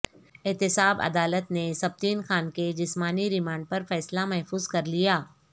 احتساب عدالت نے سبطین خان کے جسمانی ریمانڈ پر فیصلہ محفوظ کر لیا